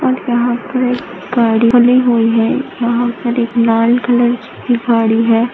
और यहां पर गाड़ी खड़ी हुई है यहां पर एक लाल कलर की गाड़ी है।